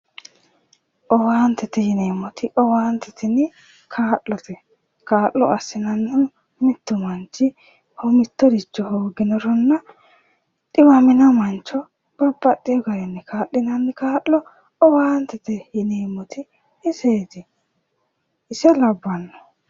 Owaantete yineemmoti owaante tini kaa'lote kaa'lo assinannihu mittu manchi mittoricho hooginoronna dhiwamino mancho babbaxxeyo garinni kaa'linanni kaa'lo owaantete yineemmoti iseeti ise labbanno